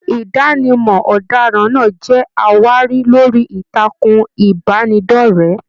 Idanimọ ọdaràn náà jẹ àwárí lórí ìtàkùn ìbánidọ̀rẹ̀.